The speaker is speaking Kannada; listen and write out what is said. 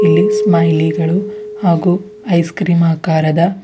ಇಲ್ಲಿ ಸ್ಟೈಲಿ ಗಳು ಹಾಗೂ ಐಸ್ಕ್ರೀಮ್ ಆಕಾರದ--